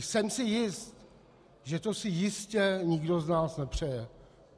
Jsem si jist, že to si jistě nikdo z nás nepřeje.